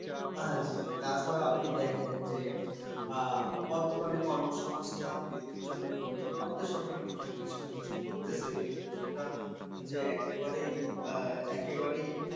হ্যাঁ, জ্বি জ্বি। তাছাড়াও আপনি দেখেন যে, আহ বর্তমানে কর্মসংস্থান কিন্তু ব্যক্তির জন্য কিন্তু আমাদের সরকার টুকটাক কিছু না কিছু করতেসে। কিন্তু সেটা যে একেবারেই আহ একেবারেই